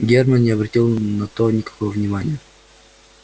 германн не обратил на то никакого внимания